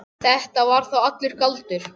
Þetta var þá allur galdur.